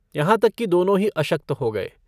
यहाँ तक कि दोनों ही अशक्त हो गये।